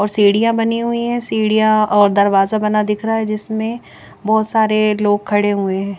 और सीढ़िया बनी हुई है सीढ़िया और दरवाज़ा बना दिख रहा है जिसमे बहोत सारे लोग खड़े हुए है।